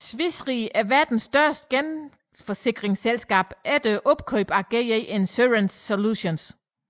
Swiss Re er verdens største genforsikringsselskab efter opkøbet af GE Insurance Solutions